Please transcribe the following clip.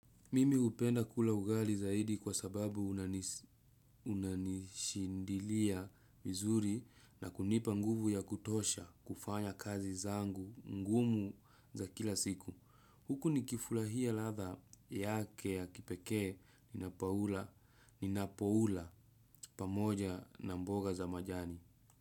Mimi hupenda kula ugali zaidi kwa sababu unanishindilia vizuri na kunipa nguvu ya kutosha kufanya kazi zangu ngumu za kila siku. Huku nikifurahia ladha yake ya kipekee ninapoula pamoja na mboga za majani.